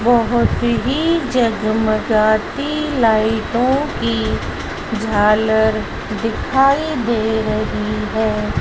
बहोत ही जगमगाती लाइटों की झालर दिखाई दे रही है।